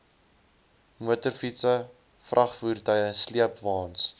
motorfietse vragvoertuie sleepwaens